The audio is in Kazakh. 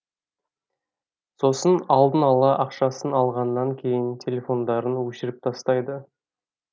сосын алдын ала ақшасын алғаннан кейін телефондарын өшіріп тастайды